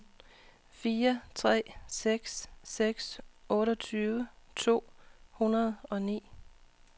fire tre seks seks otteogtyve to hundrede og ni